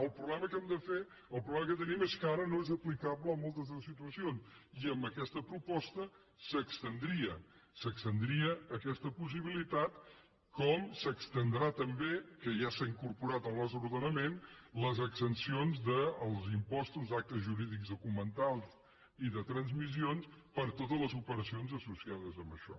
el problema que tenim és que ara no és aplicable a moltes de les situacions i amb aquesta proposta s’estendria aquesta possibilitat com s’estendran també que ja s’ha incorporat al nostre ordenament les exempcions dels impostos d’actes jurídics documentats i de transmissions per a totes les operacions associades amb això